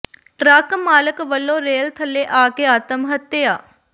truck ਮਾਲਕ ਵੱਲੋਂ rail ਥੱਲੇ ਆ ਕੇ ਆਤਮ ਹੱਤਿਆ